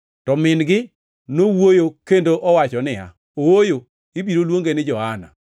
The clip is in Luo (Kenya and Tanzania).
to min-gi nowuoyo kendo owacho niya, “Ooyo! Ibiro luonge ni Johana.”